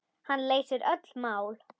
Hann leysir öll mál.